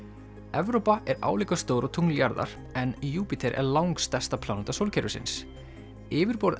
Evrópa er álíka stór og tungl jarðar en Júpíter er langstærsta pláneta sólkerfisins yfirborð